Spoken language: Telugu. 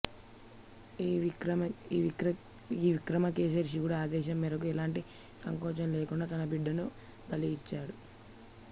ఈ విక్రమకేసరి శివుడి ఆదేశం మేరకు ఎలాంటి సంకోచం లేకుండా తన బిడ్డను బలి ఇచ్చాడు